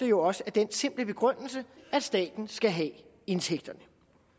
jo også af den simple grund at staten skal have indtægterne